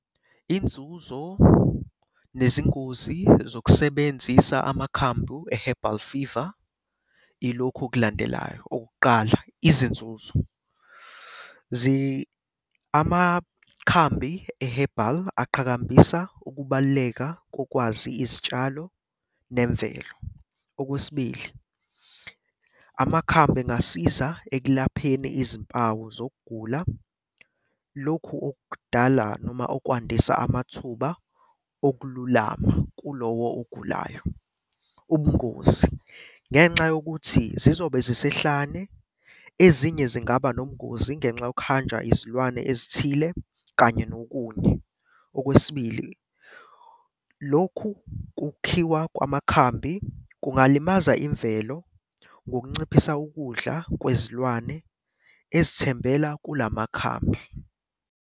Inzuzo nezingozi zokusebenzisa amakhambu e-herbal fever ilokhu okulandelayo, okokuqala izinzuzo. Amakhambi e-herbal aqhakambisa ukubaluleka kokwazi izitshalo nemvelo. Okwesibili, amakhambi engasiza ekulapheni izimpawu zokugula, lokhu okudala noma okwandiswa amathuba okululama kulowo ogulayo. Ubungozi, ngenxa yokuthi zizobe zisehlane, ezinye zingaba nobungozi ngenxa yokuhanjwa izilwane ezithile kanye nokunye. Okwesibili, lokhu kukhiwa kwamakhambi kungalimaza imvelo ngokunciphisa ukudla kwezilwane ezithembela kula makhambi.